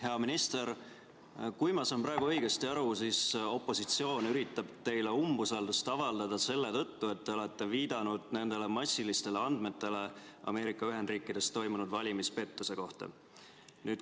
Hea minister, kui ma saan praegu õigesti aru, siis opositsioon üritab teile umbusaldust avaldada selle tõttu, et te olete viidanud massilistele andmetele Ameerika Ühendriikides toimunud valimispettuste kohta.